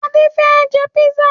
Adé fẹ́ jẹ písà